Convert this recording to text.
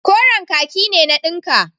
Koren kaki ne na dinka.